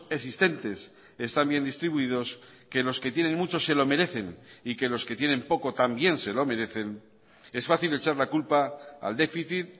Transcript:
existentes están bien distribuidos que los que tienen mucho se lo merecen y que los que tienen poco también se lo merecen es fácil echar la culpa al déficit